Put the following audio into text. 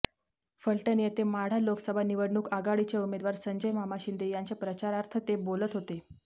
फलटण येथे माढा लोकसभा निवडणूक आघाडीचे उमेदवार संजय मामा शिंदे यांच्या प्रचारार्थ ते बोलत होते